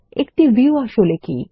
একটি ভিউ আসলে কি